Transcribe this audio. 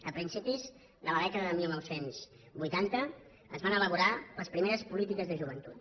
a principis de la dècada de dinou vuitanta es van elaborar les primeres polítiques de joventut